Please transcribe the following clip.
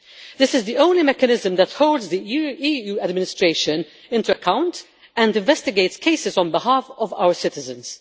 This is the only mechanism that holds the EU administration to account and investigates cases on behalf of our citizens.